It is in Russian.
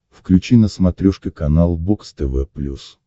включи на смотрешке канал бокс тв плюс